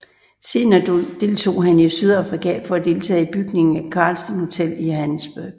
Senere drog han til Sydafrika for at deltage i bygningen af Carlton hotel i Johannesburg